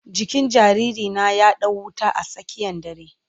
Jikin jariri na ya dau wuta a tsakiyan dare.